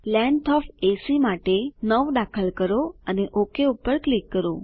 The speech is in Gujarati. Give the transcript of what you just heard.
લેંગ્થ ઓએફ એસી માટે 9 દાખલ કરો અને ઓક પર ક્લિક કરો